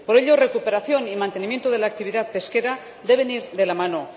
Por ello, recuperación y mantenimiento de la actividad pesquera deben ir de la mano.